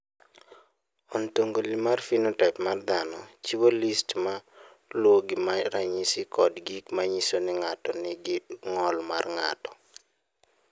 "Ontologi mar phenotaip mar dhano chiwo list ma luwogi mag ranyisi kod gik ma nyiso ni ng’ato nigi ng’ol mar ng’ato."